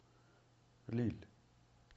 лилль